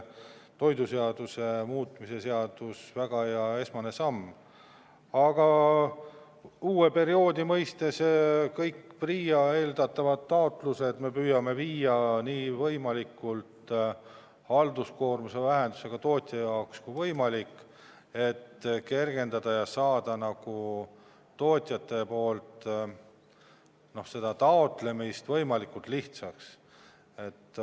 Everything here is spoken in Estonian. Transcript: Aga uue perioodi mõistes kõik PRIA eeldatavad taotlused me püüame halduskoormuse vähendamisega teha tootjale võimalikult kergeks ja lihtsaks.